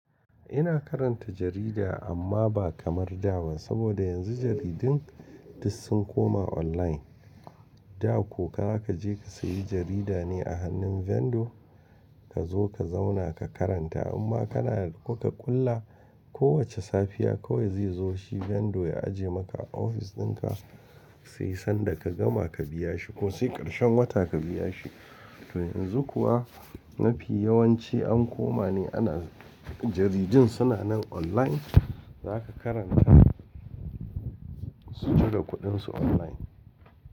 Ina karanta jarida amma ba kamar dawan saboda yanzu jaridun duk sun koma online. Da ko ka je ka sayi jarida ne a hannun vendor ka zo ka zauna ka karanta amma kana kuka kulla ko wace safiya kawai zai zo shi vendor ya ajiye maka a ofis dinka sai sanda ka gama ka biya shi ko sai ƙarshen wata ka biya shi. To yanzu kuwa mafi yawanci an koma ne ana jaridun suna nan online zaka karanta su cire kuɗin su online.